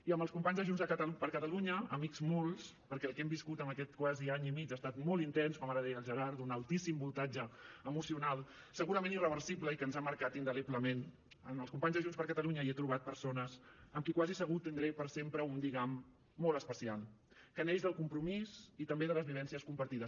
i en els companys de junts per catalunya amics molts perquè el que hem viscut en aquest quasi any i mig ha estat molt intens com ara deia el gerard d’un altíssim voltatge emocional segurament irreversible i que ens ha marcat indeleblement en els companys de junts per catalunya hi he trobat persones amb qui quasi segur tindré per sempre un lligam molt especial que neix del compromís i també de les vivències compartides